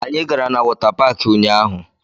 Anyị gara na wọta paakị ụnyaahụ